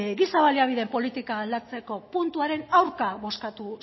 giza baliabideen politika aldatzeko puntuaren aurka bozkatu